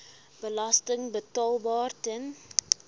belasting betaalbaar ten